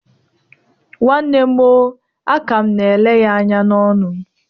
Nwanne m o. Aka m na-ele ya anya n'ọnụ